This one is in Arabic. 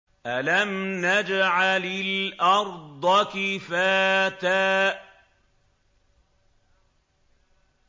أَلَمْ نَجْعَلِ الْأَرْضَ كِفَاتًا